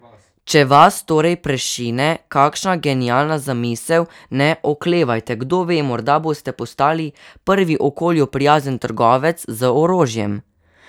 Če vas torej prešine kakšna genialna zamisel ne oklevajte, kdo ve, morda boste postali prvi okolju prijazen trgovec z orožjem.